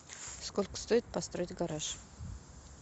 сколько стоит построить гараж